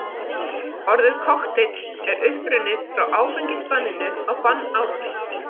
Orðið kokteill er upprunnið frá áfengisbanninu á bannárunum.